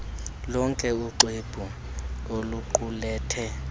lonke uxwebhu oluqulethwe